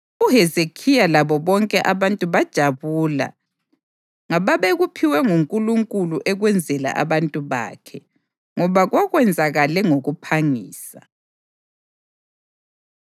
UHezekhiya labo bonke abantu bajabula ngababekuphiwe nguNkulunkulu ekwenzela abantu bakhe, ngoba kwakwenzakale ngokuphangisa.